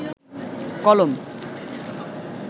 কলম